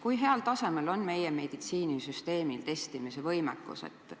Kui heal tasemel on meie meditsiinisüsteemi testimisvõimekus?